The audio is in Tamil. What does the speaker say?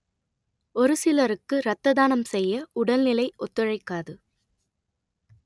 ஒரு சிலருக்கு ரத்த தானம் செய்ய உடல்நிலை ஒத்துழைக்காது